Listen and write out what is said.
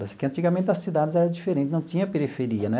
Porque antigamente as cidades eram diferentes, não tinha periferia, né?